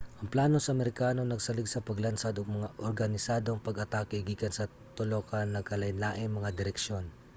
ang plano sa amerikano nagsalig sa paglansad og mga organisadong pag-atake gikan sa tulo ka nagkalainlaing mga direksyon